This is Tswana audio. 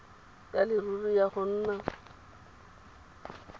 ya leruri ya go nna